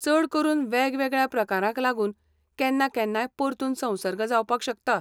चडकरून वेगवेगळ्या प्रकारांक लागून केन्ना केन्नाय परतून संसर्ग जावपाक शकता.